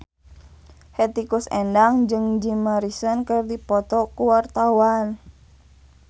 Hetty Koes Endang jeung Jim Morrison keur dipoto ku wartawan